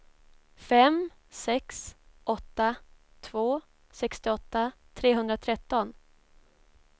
fem sex åtta två sextioåtta trehundratretton